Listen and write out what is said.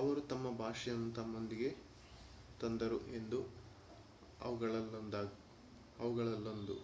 ಅವರು ತಮ್ಮ ಭಾಷೆಯನ್ನು ತಮ್ಮೊಂದಿಗೆ ತಂದರು ಎಂಬುದು ಅವುಗಳಲ್ಲೊಂದು